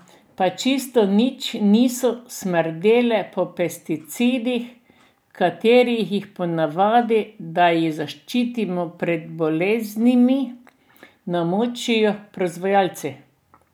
Pa čisto nič niso smrdele po pesticidih, v katere jih ponavadi, da jih zaščitijo pred boleznimi, namočijo proizvajalci.